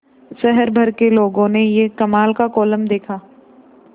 शहर भर के लोगों ने यह कमाल का कोलम देखा